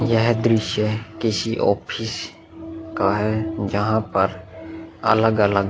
यह दृश्य किसी ऑफिस का है जहाँ पर अलग-अलग --